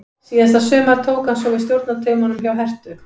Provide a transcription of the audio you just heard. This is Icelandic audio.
Síðasta sumar tók hann svo við stjórnartaumunum hjá Herthu.